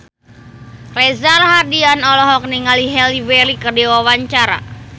Reza Rahardian olohok ningali Halle Berry keur diwawancara